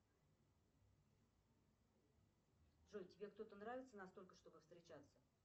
джой тебе кто то нравится настолько чтобы встречаться